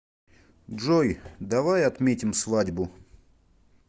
джой давай отметим свадьбу